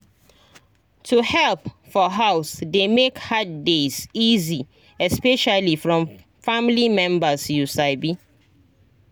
to help for house dey make hard days easy especially from family members you sabi